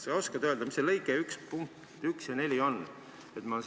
Kas sa oskad öelda, mis need lõike 1 punktid 1–4 on?